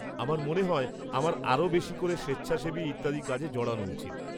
-আমার মনে হয় আমার আরও বেশি করে স্বেচ্ছাসেবী ইত্যাদি কাজে জড়ান উচিত।